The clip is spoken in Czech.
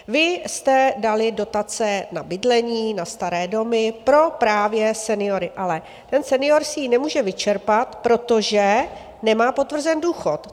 Vy jste dali dotace na bydlení, na staré domy právě pro seniory, ale ten senior si ji nemůže vyčerpat, protože nemá potvrzen důchod.